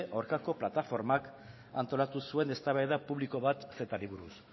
aurkako plataformak antolatu zuen eztabaida publiko bat cetari buruz